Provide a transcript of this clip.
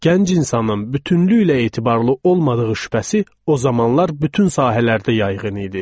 Gənc insanın bütünlüklə etibarlı olmadığı şübhəsi o zamanlar bütün sahələrdə yayğın idi.